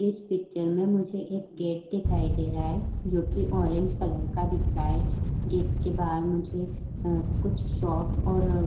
इस पिक्चर में मुझे एक गेट दिखाई दे रहा है जोकि ऑरेंज कलर का दिख रहा है। गेट के बाहर मुझे अ कुछ शॉप और --